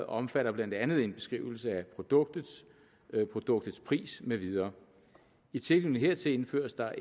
omfatter blandt andet en beskrivelse af produktet produktets pris med videre i tilknytning hertil indføres der